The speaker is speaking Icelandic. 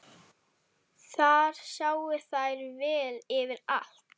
Þar sáu þær vel yfir allt.